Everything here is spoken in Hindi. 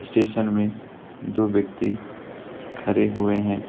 स्टेशन में दो व्यक्ति खड़े हुए है।